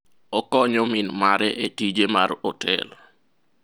okonyo min mare e tije mar otel